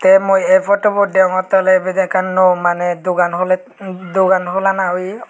tey mui ei photobut degongottey oley ibet ekkan nuyo maneh dogan huley dogan hulana oye.